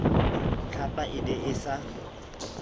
tlhapa e ne e sa